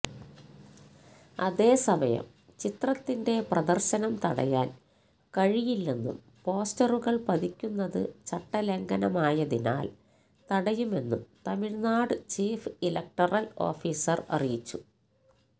അതേസമയം ചിത്രത്തിന്റെ പ്രദര്ശനം തടയാന് കഴിയില്ലെന്നും പോസ്റ്ററുകള് പതിക്കുന്നത് ചട്ടലംഘനമായതിനാല് തടയുമെന്നും തമിഴ്നാട് ചീഫ് ഇലക്ടറല് ഓഫീസര് അറിയിച്ചു